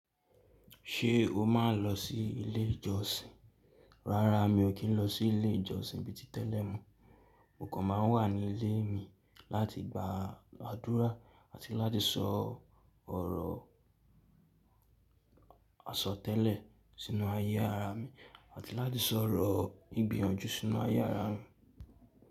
Ṣé o máa ń lọ sí ilé ìjọsìn? Rárá, mi ò kí ń lọ sí ilé ìjọsìn bí ti tẹ́lẹ̀ mọ́. Mo kàn máa ń wà ní ilé mi láti gbàdúrà àti láti sọ ọ̀rọ̀ àsọtẹ́lẹ̀ sínú ayé ara mi àti láti sọ ọ̀rọ̀ ìgbìyànjú sínú ayé ara mi.